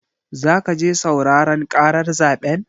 Zaka je sauraren ƙarar zaɓen?